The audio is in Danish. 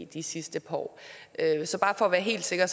de sidste par år så bare for at være helt sikker